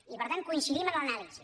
i per tant coincidim en l’anàlisi